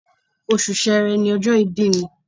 Oṣù Sẹẹrẹ ni ọjọ́ ìbí mi